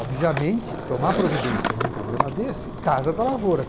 Obviamente, tomar providência num problema desse, Casa da Lavoura.